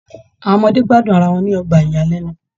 Àwọn ọmọdé gbádùn ará wọn ni ọgbà iyalẹnu